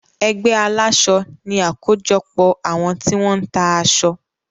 Ẹgbé aláṣọ ní àkójọpọ̀ àwọn tí wọ́n ń ta aṣọ.